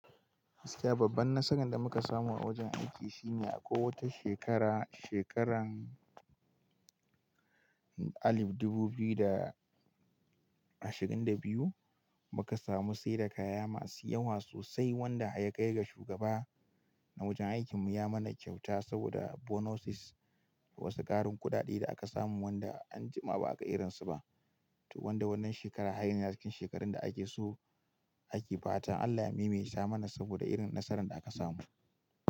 Gaskiya babban nasaran da muka samu a wajen aiki shine a ƙo wata shekara, shekaran alif dubu biyu da ashirin da biyu muka samu sayar da kaya masu yawa sosai wanda ya kai ga shugaba na wajen aikin mu ya mana kyauta saboda bonuses da wasu karin kuɗaɗe da aka samu wanda anjima ba aka irin su ba. To wanda wannan shekara hanya yake cikin shekarun da ake so ake bata. Allah maimaita mana saboda irin nasaran da aka samu.